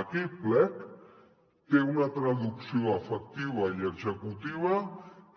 aquell plec té una traducció efectiva i executiva